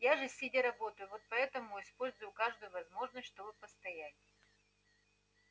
я же сидя работаю вот поэтому использую каждую возможность чтобы постоять